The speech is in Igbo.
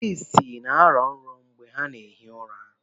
Ndị ịsị na-arọ nrọ mgbe ha na-ehi ụra.